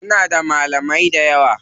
Muna da malamai dayawa.